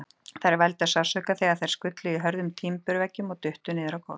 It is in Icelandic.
Þeir vældu af sársauka þegar þeir skullu í hörðum timburveggnum og duttu niður á gólf.